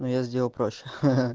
но я сделал проще ха-ха